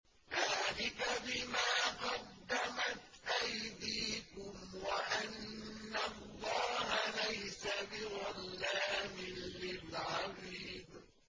ذَٰلِكَ بِمَا قَدَّمَتْ أَيْدِيكُمْ وَأَنَّ اللَّهَ لَيْسَ بِظَلَّامٍ لِّلْعَبِيدِ